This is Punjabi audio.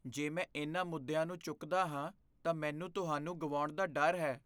ਜੇ ਮੈਂ ਇਹਨਾਂ ਮੁੱਦਿਆਂ ਨੂੰ ਚੁੱਕਦਾ ਹਾਂ, ਤਾਂ ਮੈਨੂੰ ਤੁਹਾਨੂੰ ਗੁਆਉਣ ਦਾ ਡਰ ਹੈ।